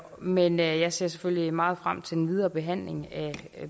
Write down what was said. men jeg ser selvfølgelig meget frem til den videre behandling af